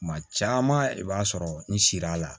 Kuma caman i b'a sɔrɔ n sir'a la